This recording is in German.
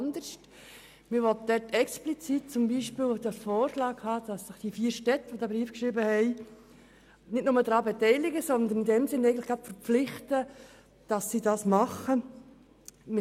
Es wird darin explizit der Vorschlag geäussert, dass sich die vier Städte nicht nur beteiligen, sondern dazu verpflichten, die Zielvorgabe umzusetzen.